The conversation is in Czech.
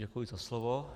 Děkuji za slovo.